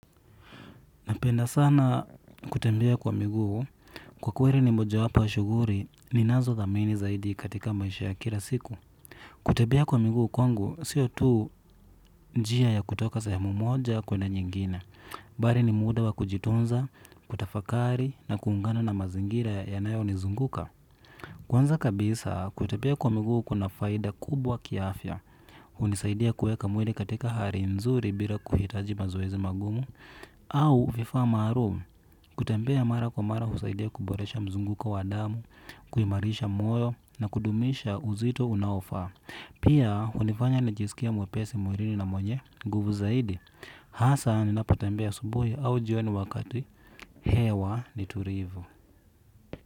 Napenda sana kutembea kwa miguu kwa kweri ni moja wapo ys shuguri ni nazo thamini zaidi katika maisha ya kila siku. Kutembea kwa miguu kwangu, siyo tuu njia ya kutoka sehemu moja kwenye nyingine. Bari ni muda wa kujitunza, kutafakari na kuungana na mazingira yanayo nizunguka. Kwanza kabisa, kutembea kwa miguu kuna faida kubwa kiafya unisaidia kuweka mwili katika hari nzuri bila kuhitaji mazoezi magumu. Au vifaa marum kutembea mara kwa mara husaidia kuboresha mzunguko wa damu, kuimarisha moyo na kudumisha uzito unaofa. Pia, hunifanya najisikia mwepesi murini na mwenye nguvu zaidi. Haasa, ninapotembea asubuhi au jioni wakati, hewa ni turivu.